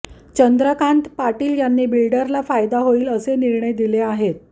चंद्रकांत पाटील यांनी बिल्डरला फायदा होईल असे निर्णय दिले आहेत